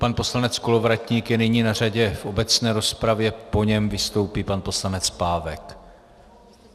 Pan poslanec Kolovratník je nyní na řadě v obecné rozpravě, po něm vystoupí pan poslanec Pávek.